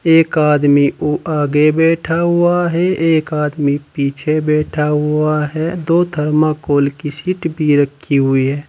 एक आदमी वो आगे बैठा हुआ है एक आदमी पीछे बैठा हुआ है दो थर्माकोल की सीट भी रखी हुई है।